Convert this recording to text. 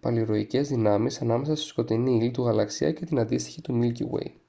παλιρροιακές δυνάμεις ανάμεσα στη σκοτεινή ύλη του γαλαξία και την αντίστοιχη του μίλκι γουέι